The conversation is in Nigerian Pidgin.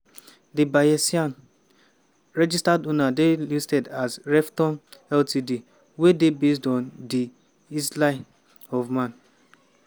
di bayesian registered owner dey listed as revtom ltd wey dey based on di isle of man.